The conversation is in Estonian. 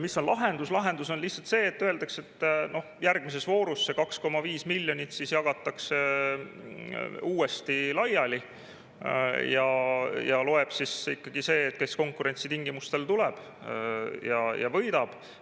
Lahendus on lihtsalt see, et öeldakse, et järgmises voorus see 2,5 miljonit jagatakse uuesti laiali ja loeb ikkagi see, kes konkurentsitingimustel tuleb ja võidab.